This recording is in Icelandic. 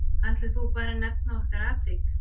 Ætlar þú bara að nefna okkar atvik?